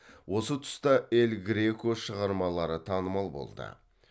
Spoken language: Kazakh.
осы тұста эль греко шығармалары танымал болды